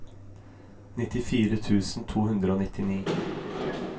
nittifire tusen to hundre og nittini